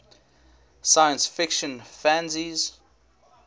science fiction fanzines